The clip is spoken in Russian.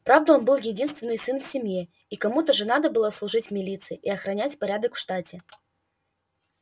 правда он был единственный сын в семье и кому-то же надо было служить в милиции и охранять порядок в штате